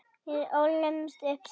Við ólumst upp saman.